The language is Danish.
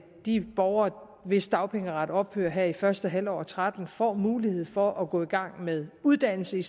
de borgere hvis dagpengeret ophører her i første halvår og tretten får mulighed for at gå i gang med uddannelse